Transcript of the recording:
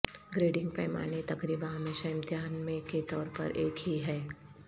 grading پیمانے تقریبا ہمیشہ امتحان میں کے طور پر ایک ہی ہے